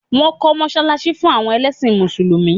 Wọ́n kọ́ mọ́sálásí fún àwọn ẹlẹ́sìn mùsùlùmí